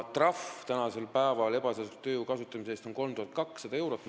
Praegu on maksimaalne trahv ebaseadusliku tööjõu kasutamise eest 3200 eurot.